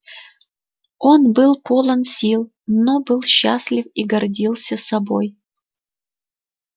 он был полон сил он был счастлив и гордился собой